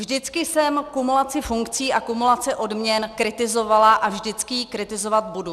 Vždycky jsem kumulaci funkcí a kumulaci odměn kritizovala a vždycky ji kritizovat budu.